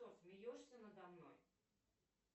что смеешься надо мной